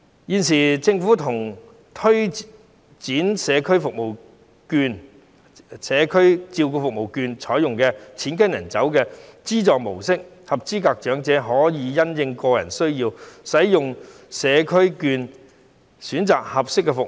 現時，政府推展長者社區照顧服務券試驗計劃，是採用"錢跟人走"的資助模式，合資格長者可以因應個人需要，使用社區照顧服務券選擇合適的服務。